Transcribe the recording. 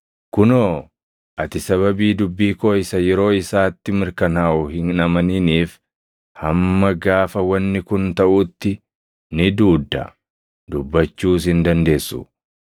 Kunoo, ati sababii dubbii koo isa yeroo isaatti mirkanaaʼu hin amaniniif hamma gaafa wanni kun taʼuutti ni duudda; dubbachuus hin dandeessu.”